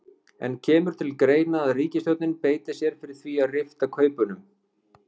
En kemur til greina að ríkisstjórnin beiti sér fyrir því að rifta kaupunum?